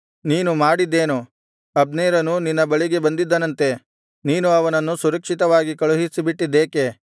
ನೀನು ಮಾಡಿದ್ದೇನು ಅಬ್ನೇರನು ನಿನ್ನ ಬಳಿಗೆ ಬಂದಿದ್ದನಂತೆ ನೀನು ಅವನನ್ನು ಸುರಕ್ಷಿತವಾಗಿ ಕಳುಹಿಸಿಬಿಟ್ಟಿದ್ದೇಕೆ